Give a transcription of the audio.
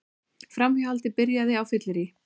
Framhjáhaldið byrjaði á fylleríi